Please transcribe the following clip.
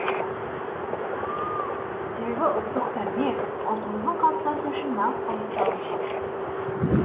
себебі ұлттық тәрбие ұлтымыздың қалыптасуы үшін нағыз қажетті алғышарт